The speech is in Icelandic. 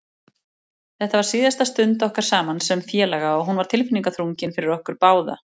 Þetta var síðasta stund okkar saman sem félaga og hún var tilfinningaþrungin fyrir okkur báða.